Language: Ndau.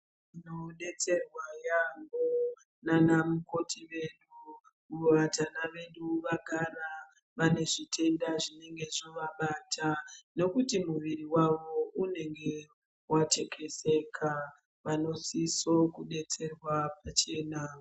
Tinodetserwa nyambo ndivana mukoti wedu kuvatana vedu vagara vanezvitenda zvinenge zvavabata ngekuti muviri wavo unenge wathekezeka vanosisira kudetserwa pachena.